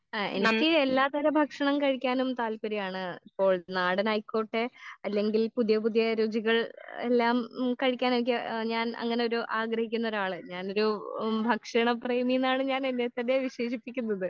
ആ എനിക്ക് എല്ലാത്തരം ഭക്ഷണം കഴിക്കാനും താല്പര്യാണ്.ഇപ്പോൾ നാടൻ ആയിക്കോട്ടെ അല്ലെങ്കിൽ പുതിയ പുതിയ രുചികൾ എല്ലാം ഉം കഴിക്കാൻ എനിക്ക് ഞാൻ അങ്ങനൊരു ആഗ്രഹിക്കുന്ന ആളാ ഞാനൊരു ഭക്ഷണ പ്രേമിന്നാണ് ഞാൻ എന്നെ തന്നെ വിശേഷിപ്പിക്കുന്നത്.